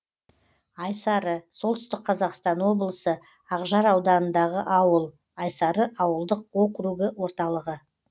айсары солтүстік қазақстан облысы ақжар ауданындағы ауыл айсары ауылдық округі орталығы